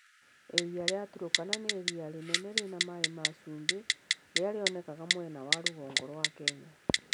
Iria rĩa Turkana nĩ iria inene rĩna maĩ ma cumbĩ rĩrĩa rĩonekaga mwena wa rũgongo rwa Kenya.